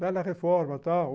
Bela reforma, tá?